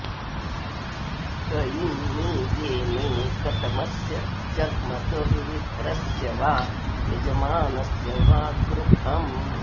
क ईं नि येमे कतमस्य जग्मतुर्विप्रस्य वा यजमानस्य वा गृहम्